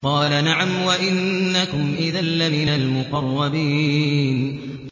قَالَ نَعَمْ وَإِنَّكُمْ إِذًا لَّمِنَ الْمُقَرَّبِينَ